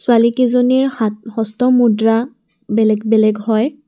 ছোৱালী কিজনীৰ হাত হস্তমুদ্ৰা বেলেগ বেলেগ হয়।